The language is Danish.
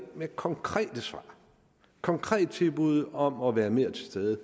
med konkrete svar og konkrete tilbud om at være mere til stede